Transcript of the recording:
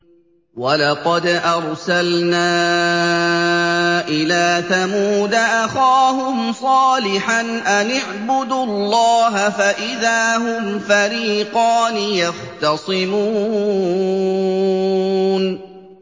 وَلَقَدْ أَرْسَلْنَا إِلَىٰ ثَمُودَ أَخَاهُمْ صَالِحًا أَنِ اعْبُدُوا اللَّهَ فَإِذَا هُمْ فَرِيقَانِ يَخْتَصِمُونَ